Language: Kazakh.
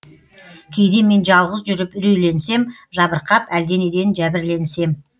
кейде мен жалғыз жүріп үрейленсем жабырқап әлденеден жәбірленсем